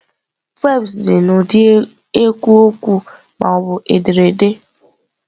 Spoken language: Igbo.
Peoms dị n'ụdị ekwu okwu ma ọ bụ ederede.